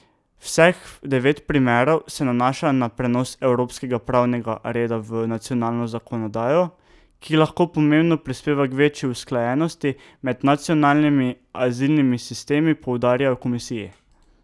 Vseh devet primerov se nanaša na prenos evropskega pravnega reda v nacionalno zakonodajo, ki lahko pomembno prispeva k večji usklajenosti med nacionalnimi azilnimi sistemi, poudarjajo v komisiji.